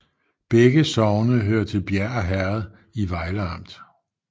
Begge sogne hørte til Bjerre Herred i Vejle Amt